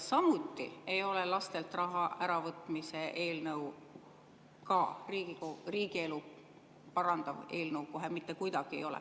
Samuti ei ole lastelt raha äravõtmise eelnõu riigielu parandav eelnõu, kohe mitte kuidagi ei ole.